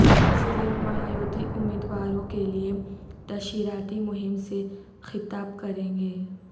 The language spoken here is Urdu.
ضلع میں مہا یوتی امیدواروں کے لئے تشہیراتی مہم سے خطاب کرینگے